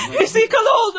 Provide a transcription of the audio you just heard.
Qəhrəmanlıq idi!